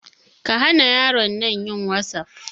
Kahana yaron nan yin wasaf.